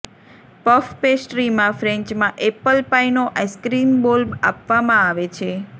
puff પેસ્ટ્રીમાં ફ્રેન્ચમાં apple પાઇનો આઈસ્ક્રીમ બોલ આપવામાં આવે છે